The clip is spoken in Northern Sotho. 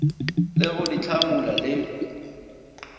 le go di hlamula le